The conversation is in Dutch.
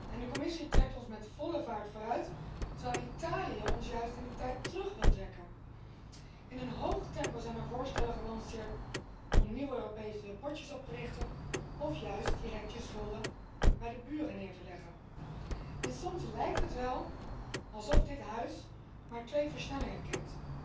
En de Commissie trekt ons met volle vaart vooruit, terwijl Italië ons juist in de tijd terug wil trekken. In een hoog tempo zijn er voorstellen gelanceerd om nieuwe Europese potjes op te richten, of juist direct je schulden bij de buren neer te leggen. En soms lijkt het wel alsof dit Huis maar twee versnellingen kent